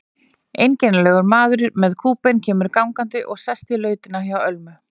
Einkennilegur maður með kúbein kemur gangandi og sest í lautina hjá Ölmu.